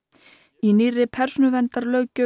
í nýrri persónuverndarlöggjöf